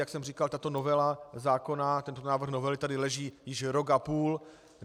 Jak jsem říkal, tato novela zákona, tento návrh novely tady leží již rok a půl.